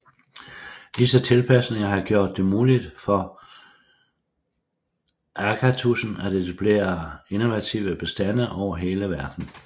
Disse tilpasninger har gjort det muligt for agatudsen at etablere invasive bestande over hele verden